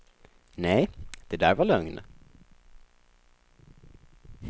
Nej, det det där var lögn.